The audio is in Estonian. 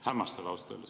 Hämmastav, ausalt öeldes.